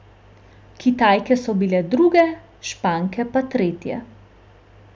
Kitajke so bile druge, Španke pa tretje.